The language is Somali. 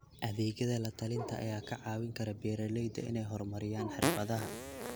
Adeegyada la-talinta ayaa ka caawin kara beeralayda inay horumariyaan xirfadaha.